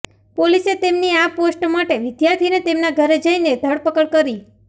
પોલીસે તેમની આ પોસ્ટ માટે વિદ્યાર્થીને તેમના ઘરે જઇને ધરપકડ કરી